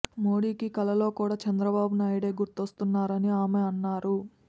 మోడీకి కలలో కూడా చంద్రబాబు నాయుడే గుర్తొస్తున్నారన్నారని ఆమె అన్నారు